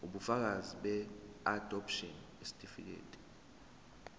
ubufakazi beadopshini isitifikedi